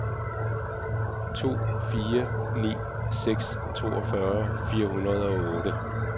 to fire ni seks toogfyrre fire hundrede og otte